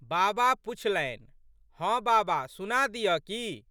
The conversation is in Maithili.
बाबा पुछलनि। "हँ बाबा सुना दिअऽ की?